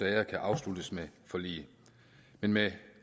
af dem afsluttes med forlig men med